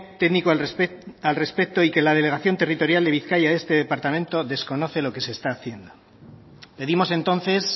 técnico al respecto y que la delegación territorial de bizkaia de este departamento desconoce lo que se está haciendo pedimos entonces